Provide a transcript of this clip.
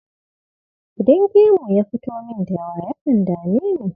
Idan gemu ya fito min da yawa, yakan dame ni.